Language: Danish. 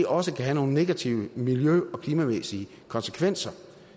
også kan have nogle negative miljø og klimamæssige konsekvenser